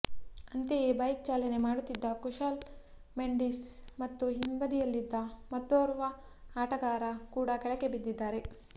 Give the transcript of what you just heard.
ಅಂತೆಯೇ ಬೈಕ್ ಚಾಲನೆ ಮಾಡುತ್ತಿದ್ದ ಕುಶಾಲ್ ಮೆಂಡಿಸ್ ಮತ್ತು ಹಿಂಬದಿಯಲ್ಲಿದ್ದ ಮತ್ತೋರ್ವ ಆಟಗಾರ ಕೂಡ ಕೆಳಗೆ ಬಿದ್ದಿದ್ದಾರೆ